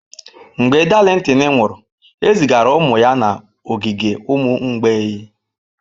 Mgbe Darlington nwụrụ, ezigara ụmụ ya n'ogige ụmụ mgbei.